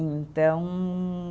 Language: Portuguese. Então